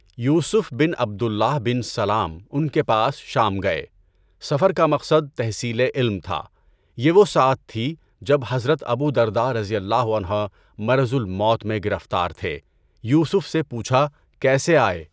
یوسف بن عبد اللہ بن سلام ان کے پاس شام گئے۔ سفر کا مقصد تحصیلِ علم تھا۔ یہ وہ ساعت تھی، جب حضرت ابو درداء رضی اللہ عنہ مَرَضُ الموت میں گرفتار تھے، یوسف سے پوچھا کیسے آئے؟